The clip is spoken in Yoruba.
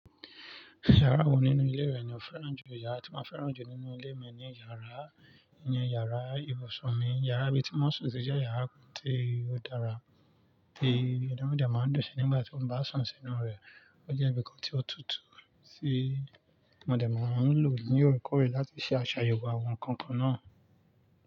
Iyàrá wo nínú ilé rẹ̀ ni ó fẹ́ràn jù iyára, tí maa n fẹ́ràn jù nínú ilé mi ni iyàrá, ìyẹn iyàrá ibùsùn mi. Iyàrá ibi tí mo n sùn si jẹ́ iyàrá tí ó dára tí o dè máa ń dunsi nígbà tí mo bá sùn sínú rẹ̀. Ó jẹ́ ibìkan tí ó tutù tí mo dè máa ń lò ní òrèkóòrè láti ṣe àṣàyẹ̀wò àwọn ǹkan kan náà.